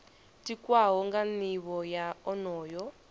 tikwaho nga nivho ya onoyo